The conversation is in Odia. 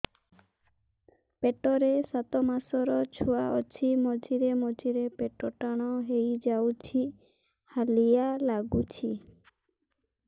ପେଟ ରେ ସାତମାସର ଛୁଆ ଅଛି ମଝିରେ ମଝିରେ ପେଟ ଟାଣ ହେଇଯାଉଚି ହାଲିଆ ଲାଗୁଚି